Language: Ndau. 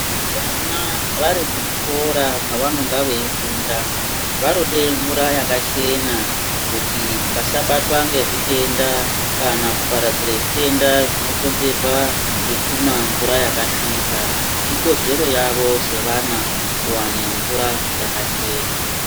Vana vari muzvikora mwavanonga veifunda vanode mvura yakachena kuti vasabatwe ngezvitenda kana kuparadzire zvitenda zvinokonzerwa ngekumwa mvura yakasvipa ikodzero yavo sevana kuwane mvura yakachena .